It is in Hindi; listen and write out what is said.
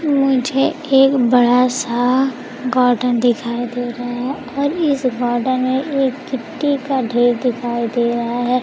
मुझे एक बड़ा सा गार्डन दिखाई दे रहा है और इस गार्डन में एक गिट्टी का ढेर दिखाई दे रहा है।